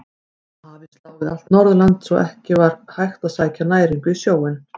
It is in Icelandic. Hafís lá við allt Norðurland svo að ekki var hægt að sækja næringu í sjóinn.